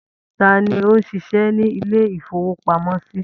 Ta ni ó ń ṣiṣẹ́ ní ilé-ìfowópamọ́sí?